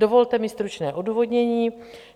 Dovolte mi stručné odůvodnění.